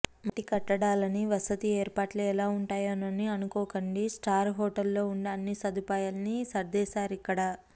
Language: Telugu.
మట్టి కట్టడాలని వసతి ఏర్పాట్లు ఎలా ఉంటాయోనని అనుకోకండి స్టార్ హోటళ్లలో ఉండే అన్ని సదుపాయాల్ని సర్దేశారిక్కడ